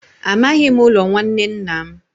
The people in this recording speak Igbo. Amaghị m ụlọ nwanne nna m.